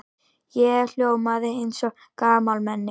Ég hljómaði eins og gamalmenni.